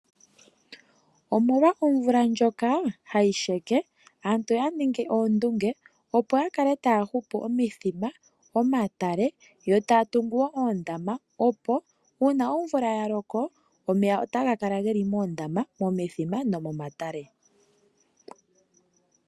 Omolwa omvula ndjoka ha yi sheka, aantu oya ningi oondunge opo ya kale ta ya hupu omithima, omatale yo taa tungu wo oondama. Uuna omvula ya loko, omeya ota ga kala ge li moondama, momithima nomomatale.